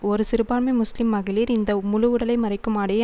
ஒரு சிறுபான்மை முஸ்லிம் மகளிர் இந்த முழு உடலை மறைக்கும் ஆடையை